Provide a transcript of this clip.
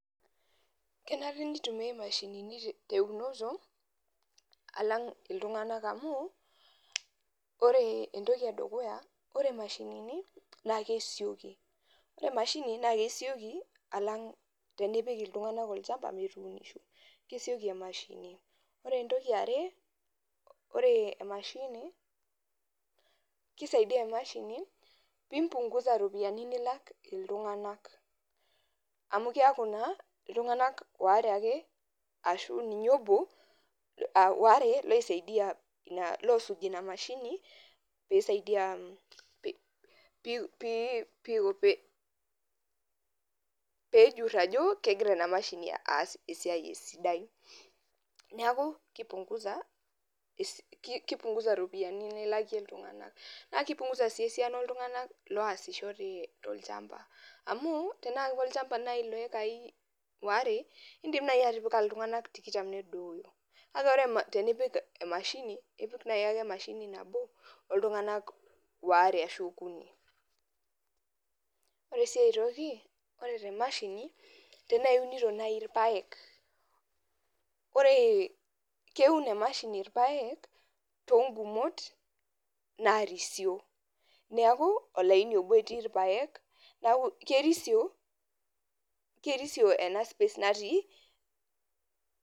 kenare nitumiyai imashini teweji teunoto alang iltunganak amu, ore entoki edukuya ore imashinini naa kesioki alang tinipik iltunganak olchamba, ore entoki yare naa kisaidia emashini pee imbungusa iropiyiani nilak iltunganak, amu keeku naa iltunganak are ashu ninye obo oware loisaidia pee ejur neeku kipunkusa iropiyiani nilakie iltunganak naa kipungusa sii iropiyiani esiana nilakie kulo tunganak, amu tenaa kolchamba naaji loo iyikai are naa idim atipika iltunaganak tikitam , ore sii enakae tenaa iunito naaji ilpayek naa kerisio.